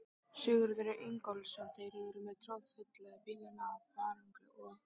Sigurður Ingólfsson: Þeir eru með troðfulla bílana af farangri og?